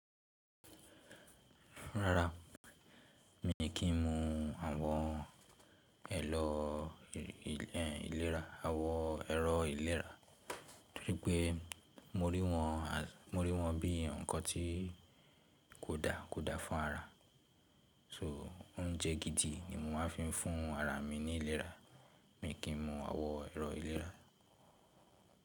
Rárá, mi kí ń mu awon àwọn ẹ̀rọ ìlera, torípé mo rí wọn bí ǹkan tí kò da, ko da fún ara. So oúnjẹ gidi ni mo máa ń fi fún ara mi ní ìlera, mi ò kí ń mu àwọn ẹ̀rọ ìlera.